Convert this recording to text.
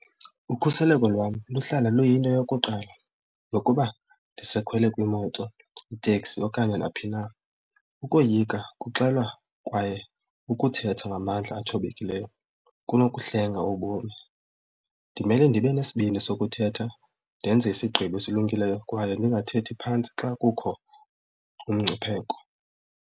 Ukhuseleko lwam luhlala luyinto yokuqala nokuba ndisakhwele kwimoto, iteksi okanye naphi na. Ukoyika kuxelelwa kwaye ukuthetha ngamandla athobekileyo kunokuhlenga ubomi. Ndimele ndibe nesibindi sokuthetha ndenze isigqibo esilungileyo kwaye ndingathethi phantsi xa kukho umngcipheko.